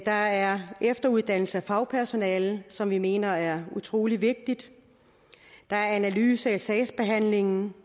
der er efteruddannelse af fagpersonalet som vi mener er utrolig vigtigt der er analyse af sagsbehandlingen